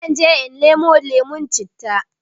Zanje in nemo lemon citta